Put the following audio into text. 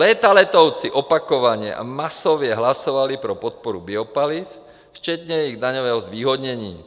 Leta letoucí opakovaně a masově hlasovali pro podporu biopaliv, včetně jejich daňového zvýhodnění.